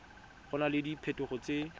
go na le diphetogo tse